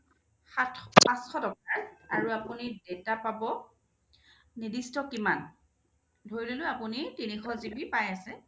সাতশ টকাৰ আৰু আপোনি data পাব নিৰ্দিষ্ট কিমান ধৰিলোঁ আপুনি তিনিশ GB পাই আছে